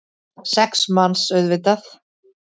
Sex manns, auðvitað.